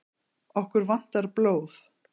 Okkur vantar blóð